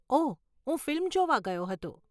ઓહ, હું ફિલ્મ જોવા ગયો હતો.